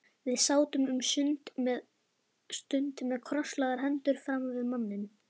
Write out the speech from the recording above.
Við sátum um stund með krosslagðar hendur framan við manninn.